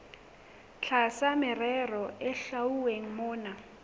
tlasa merero e hlwauweng mona